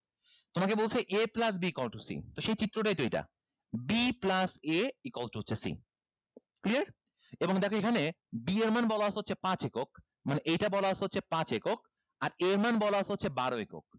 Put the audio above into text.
তোমাকে বলছে a plus b equal to c তো সেই চিত্রটাই তো এটা b plus a equal to হচ্ছে c clear এবং দেখো এখানে b এর মান বলা আছে হচ্ছে পাঁচ একক মানে এইটা বলা আছে হচ্ছে পাঁচ একক আর a এর মান বলা আছে হচ্ছে বারো একক